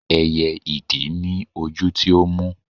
ẹyẹ idì ni ojú tí ó mú